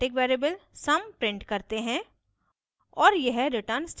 यहाँ sum static variable sum print करते हैं